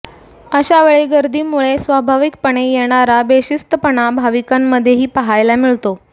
अशा वेळी गर्दीमुळे स्वाभाविकपणे येणारा बेशिस्तपणा भाविकांमध्येही पाहायला मिळतो